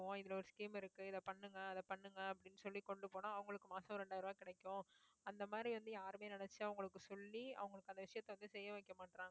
இதுல ஒரு scheme இருக்கு இதை பண்ணுங்க அதை பண்ணுங்க அப்படின்னு சொல்லி கொண்டு போனா அவங்களுக்கு மாசம் இரண்டாயிரம் ரூபாய் கிடைக்கும் அந்த மாதிரி வந்து யாருமே நினைச்சா அவங்களுக்கு சொல்லி அவங்களுக்கு அந்த விஷயத்த வந்து செய்ய வைக்க மாட்றாங்க